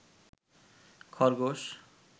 খরগোশ